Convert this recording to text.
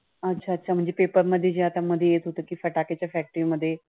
अच्छा अच्छा अच्छा. म्हणजे paper मध्ये आता जे येत होत फटाक्यांच्या factory मध्ये